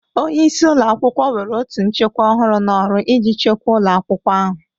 Onye isi ụlọ akwụkwọ were otú nchekwa ọhụrụ n'ọrụ iji chekwa ụlọ akwụkwọ ahụ.